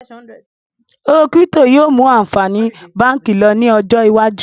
Owó kírípítò yìí ó mú àǹfààní báànkì lọ ní ọjọ́ iwájú